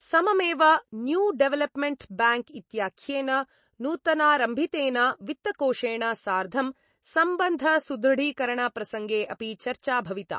सममेव New Development Bank इत्याख्येन नूतनारम्भितेन वित्तकोषेण सार्धं सम्बन्धसुदृढीकरणप्रसङ्गे अपि चर्चा भविता।